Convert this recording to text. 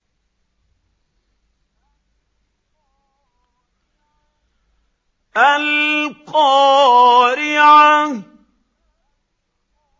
الْقَارِعَةُ